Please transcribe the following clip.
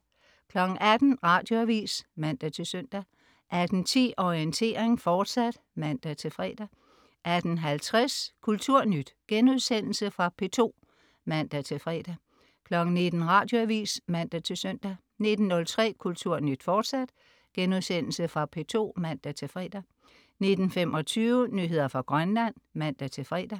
18.00 Radioavis (man-søn) 18.10 Orientering, fortsat (man-fre) 18.50 Kulturnyt.* Genudsendelse fra P2 (man-fre) 19.00 Radioavis (man-søn) 19.03 Kulturnyt, fortsat.* Genudsendelse fra P2 (man-fre) 19.25 Nyheder fra Grønland (man-fre)